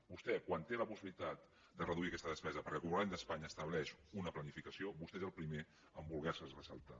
vostè quan té la possibilitat de reduir aquesta despesa perquè el govern d’espanya estableix una planificació vostè és el primer a voler se la saltar